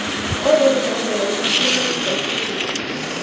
ozolilandela ukuphumelelisa iphrojekhthi